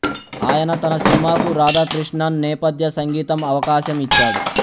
ఆయన తన సినిమాకు రాధాకృష్ణన్ నేపథ్య సంగీతం అవకాశం ఇచ్చాడు